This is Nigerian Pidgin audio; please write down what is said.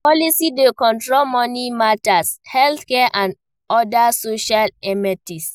Policy dey control money matter, healthcare and oda social amenities